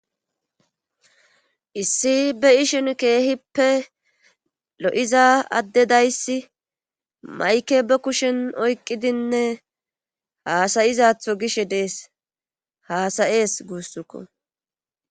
Issi be ishin keehippe lo7iza addedayssi mayke ba kushen oyqqidinne haasayizatho gish dees haasayees guussukko.